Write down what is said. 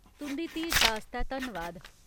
तुं'दी धीरता आस्तै धन्नवाद।